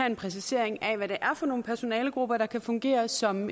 en præcisering af hvad det er for nogle personalegrupper der kan fungere som